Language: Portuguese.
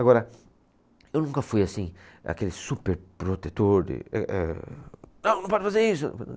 Agora, eu nunca fui assim, aquele super protetor de, eh, eh. Não, não pode fazer isso!